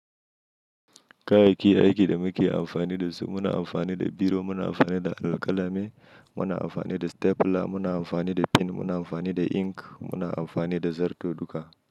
Kayayyakin aiki da muke amfani da su muna amfani da biro, muna amfani da alƙalami, muna amfani da stapler, muna amfani da pin, muna amfani da ink, muna amfani da zarto duka.